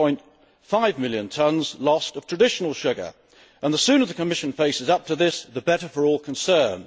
1.5 million tonnes lost of traditional sugar and the sooner the Commission faces up to this, the better for all concerned.